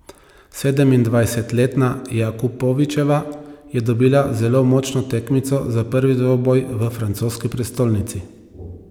Sedemindvajsetletna Jakupovičeva je dobila zelo močno tekmico za prvi dvoboj v francoski prestolnici.